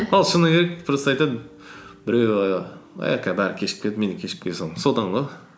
ол шыны керек просто айтады біреуі кешігіп келеді мен де кешігіп келе саламын содан ғой